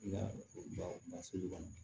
I ka basigi dɔɔnin